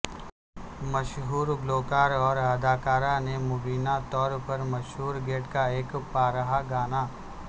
مشہور گلوکار اور اداکارہ نے مبینہ طور پر مشہور گیت کا ایک پارہا گانا